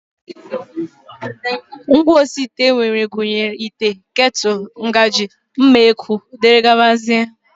Ngwaosiite e nwere gụnyere ite, ketụl, ngaji, mma ekwu dgz